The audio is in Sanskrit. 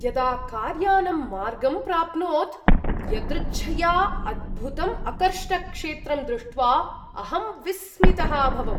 यदा कार्यानं मार्गं प्राप्नोत्, यदृच्छया अद्भुतम् अकर्ष्टक्षेत्रं दृष्ट्वा अहं विस्मितः अभवम्।